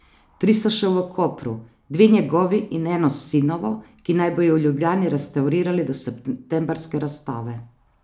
Tri so še v Kopru, dve njegovi in eno sinovo, ki naj bi ju v Ljubljani restavrirali do septembrske razstave.